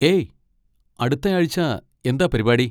ഏയ്, അടുത്താഴ്ച്ച എന്താ പരിപാടി?